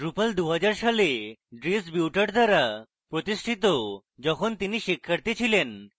drupal 2000 সালে dries buytaert দ্বারা প্রতিষ্ঠিত যখন তিনি শিক্ষার্থী ছিলেন